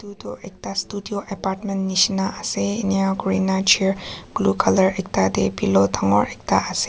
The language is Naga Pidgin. Etu ekta studio apartment nehsina ase enya kurina chair blue colour ekta dae pillow dangor ekta ase.